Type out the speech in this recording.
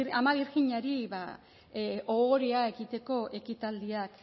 ama birjinari ohoreak egiteko ekitaldiak